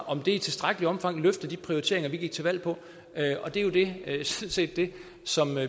om det i tilstrækkeligt omfang løfter de prioriteringer vi gik til valg på det er sådan set det som